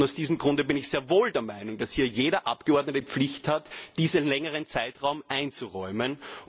Aus diesem Grunde bin ich sehr wohl der Meinung, dass hier jeder Abgeordnete die Pflicht hat, diesen längeren Zeitraum einzuräumen.